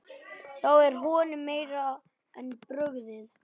Þá er honum meira en brugðið.